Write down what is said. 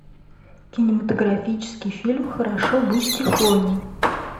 кинематографический фильм хорошо быть тихоней